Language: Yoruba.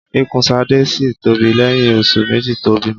Ikùn Ṣadé ṣì tóbi lẹ́yìn oṣù méjì tó bímọ.